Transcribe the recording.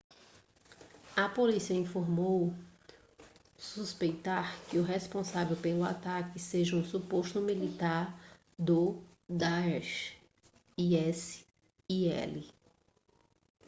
a polícia informou suspeitar que o responsável pelo ataque seja um suposto militante do daesh isil